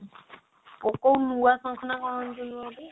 କଣ ଏମିତି ନୁହଁ ଗୋଟେ